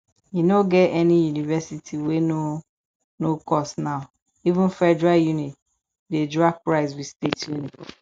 e no get any university wey no no cost now even federal uni dey drag price with state uni